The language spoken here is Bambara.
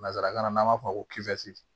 Nansarakan na an b'a fɔ ko